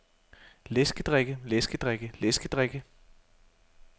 læskedrikke læskedrikke læskedrikke